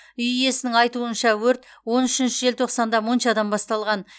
үй иесінің айтуынша өрт он үшінші желтоқсанда моншадан басталған